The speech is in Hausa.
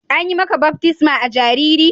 An yi maka baftisma a jariri?